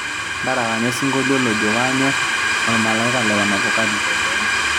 ntarakanya osinkolio lojo kaanyor olmalaika le Wanavokali